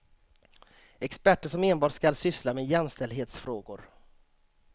Experter som enbart skall syssla med jämställdhetsfrågor.